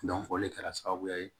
o de kɛra sababuya ye